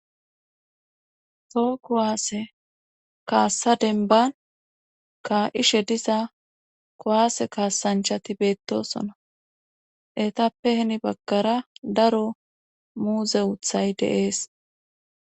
Toho kuwaase kaassa denban ka7ishe diza kowaase kaasanchati beettosona etappe hini baggara daro muuze uthay de7ees.